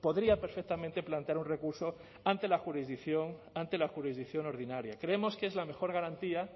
podría perfectamente plantear un recurso ante la jurisdicción ante la jurisdicción ordinaria creemos que es la mejor garantía